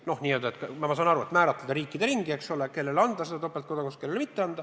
Noh, ma saan aru, sa tahad määratleda riikide ringi, kelle kodanikele lubada topeltkodakondsust.